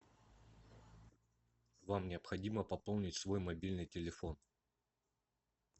вам необходимо пополнить свой мобильный телефон